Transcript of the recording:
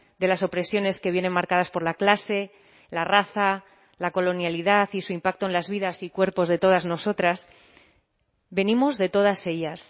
de las opresiones que vienen marcadas por la clase la raza la colonialidad y su impacto en las vidas y cuerpos de todas nosotras venimos de todas ellas